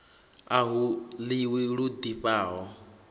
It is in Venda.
a hu ḽiwi lu ḓifhaho